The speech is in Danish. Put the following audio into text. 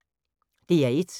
DR1